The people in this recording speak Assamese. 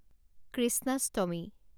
কৃষ্ণাষ্টমী